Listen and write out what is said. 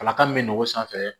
Kalata min bɛ nɛgɛ sanfɛ